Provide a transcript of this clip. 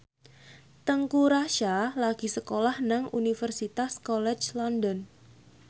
Teuku Rassya lagi sekolah nang Universitas College London